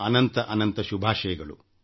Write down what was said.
ಅನಂತ ಅನಂತ ಶುಭಾಶಯಗಳು